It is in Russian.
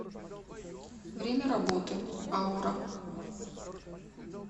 время работы аура